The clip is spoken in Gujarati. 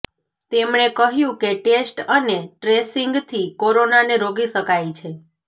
તેમણે કહ્યું કે ટેસ્ટ અને ટ્રેસિંગથી કોરોનાને રોકી શકાય છે